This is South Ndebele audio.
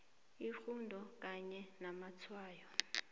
irhudo kanye namatshwayo